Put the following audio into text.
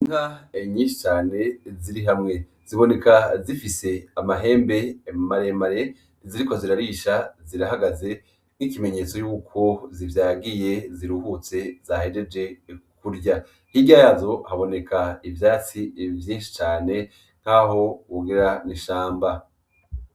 Inka nyinshi cane ziri hamwe, ziboneka zifise amahembe maremare ziriko zirarisha zirahagaze nk'ikimenyetso yuko zivyagiye ziruhutse zahejeje kurya, hirya yazo haboneka ivyatsi vyinshi cane nkaho wogira n'ishamba.